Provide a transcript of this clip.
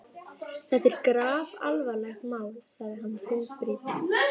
Þetta er grafalvarlegt mál sagði hann þungbrýnn.